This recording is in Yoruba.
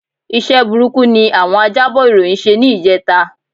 Iṣẹ́ burúkú ni àwọn ajábọ̀ ìròyìn ṣe ní ìjẹta